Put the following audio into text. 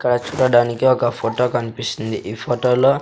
ఇక్కడ చూడడానికి ఒక ఫోటో కనిపిస్తుంది ఈ ఫోటో లో --